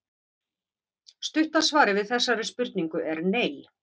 Stutta svarið við þessari spurningu er nei.